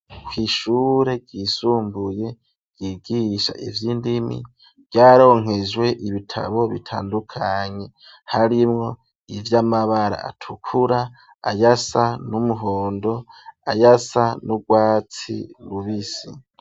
kw'ishure ryisumbuye ryigisha ivyindimi ryaronkejwe ibitabo bitandukanye harimwo ivyamabara atukura ayasa n'umuhondo ayasa n'urwatsi rubisi